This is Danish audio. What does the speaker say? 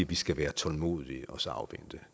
vi skal være tålmodige og så afvente